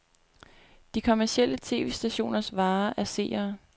De kommercielle tv-stationers vare er seere.